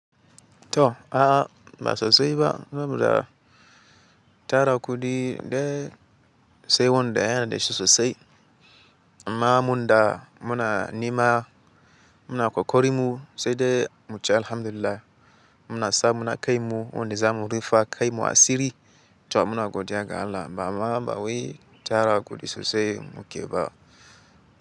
To a'a ba sosai ba, ba mu da tara kuɗi dai sai wannan da yana da sosai. Ma munda muna nema muna ƙoƙarin mu sai de muce alhamdulillah muna sa muna kai mu wannan zamu rufawa kanmu asiri to muna godiya ga Allah ba ma ba wai tara kuɗi sosai mu ke ba.